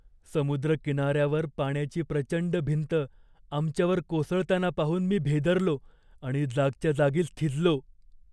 समुद्रकिनार्यावर पाण्याची प्रचंड भिंत आमच्यावर कोसळताना पाहून मी भेदरलो आणि जागच्या जागीच थिजलो.